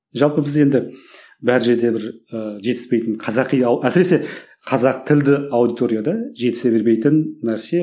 жалпы біз енді бар жерде бір ы жетіспейтін қазақи әсіресе қазақ тілді аудиторияда жетісе бермейтін нәрсе